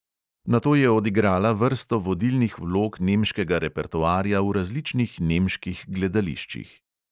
Nato je odigrala vrsto vodilnih vlog nemškega repertoarja v različnih nemških gledališčih.